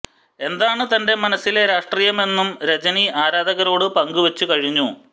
എന്താണ് തന്റെ മനസ്സിലെ രാഷ്ട്രീയമെന്നും രജനി ആരാധകരോട് പങ്കുവച്ചു കഴിഞ്ഞു